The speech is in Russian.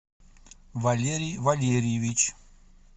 валерий валерьевич